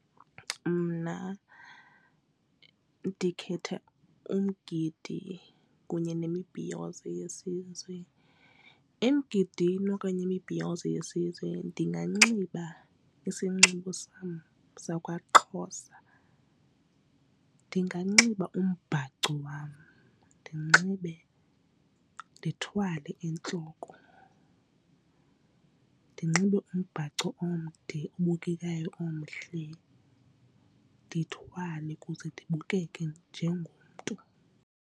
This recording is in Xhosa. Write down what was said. Mna ndikhetha umgidi kunye nemibhiyozo yesizwe. Emgidini okanye imibhiyozo yesizwe ndinganxiba isinxibo sam sakwaXhosa. ndinganxiba umbhaco wam ndithwale entloko ndinxibe umbhaco omde obukekayo omhle ndithwale kuze ndibukeke njengomntu.